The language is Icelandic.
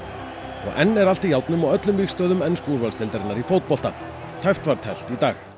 og enn er allt í járnum á öllum vígstöðvum ensku úrvalsdeildarinnar í fótbolta tæpt var teflt í dag